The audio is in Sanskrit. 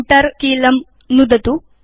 Enter कीलं नुदतु